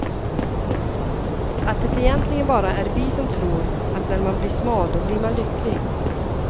Att det egentligen bara är vi som tror, att när man blir smal då blir man lycklig.